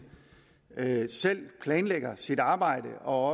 selv planlægger sit arbejde og